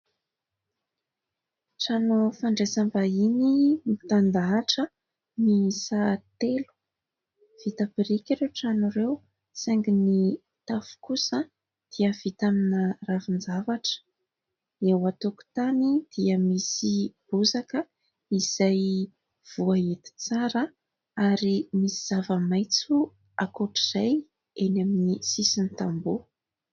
Trano fandraisam-bahiny mitandahatra miisa telo, vita biriky ireo trano ireo, saingy ny tafo kosa dia vita amina ravin-javatra. Eo an-tokotany dia misy bozaka izay voahety tsara, ary misy zava-maitso ankoatr'izay eny amin'ny sisin'ny tamboho.